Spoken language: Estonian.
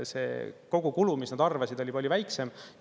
See kogukulu, mis nad arvasid, oli palju väiksem.